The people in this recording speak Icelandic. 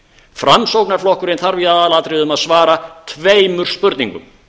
framsóknarflokkurinn þarf í aðalatriðum að svara tveimur spurningum